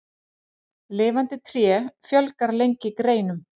Lifandi tré fjölgar lengi greinum.